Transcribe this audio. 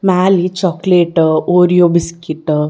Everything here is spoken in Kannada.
ಮೇಲಿ ಚಾಕಲೇಟ್ ಓರಿಯೋ ಬಿಸ್ಕೆಟ್ .